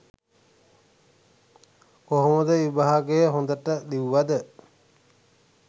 කොහොමද විභාගය හොඳට ලිව්වද?